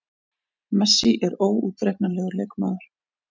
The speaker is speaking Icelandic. Messi er óútreiknanlegur leikmaður.